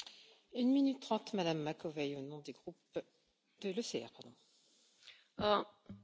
Doamna președintă, cum stăm cu confiscarea și punerea sub sechestru?